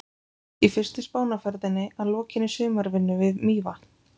Í fyrstu Spánarferðinni að lokinni sumarvinnu við Mývatn.